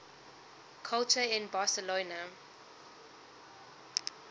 culture in barcelona